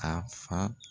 A fa